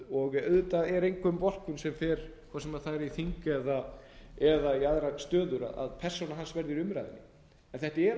og auðvitað er engum vorkunn hvort sem hann fer á þing eða í aðrar stöður að persóna hans verður í umræðu en þetta er allt of